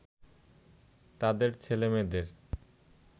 তাদের ছেলে-মেয়েদের